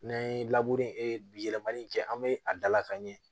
N'an ye bi yɛlɛmali in kɛ an be a dalakan ɲɛ